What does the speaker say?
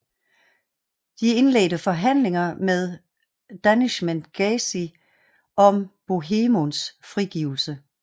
De indledte forhandlinger med Danishmend Gazi om Bohemunds frigivelse